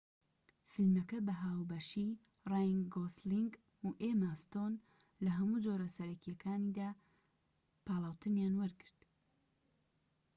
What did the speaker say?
فیلمەکە بە هاوبەشی ڕاین گۆسلینگ و ئێما ستۆن لە هەموو جۆرە سەرەکیەکیاندا پاڵاوتنیان وەرگرت